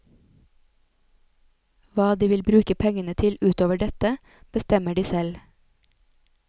Hva de vil bruke pengene til utover dette, bestemmer de selv.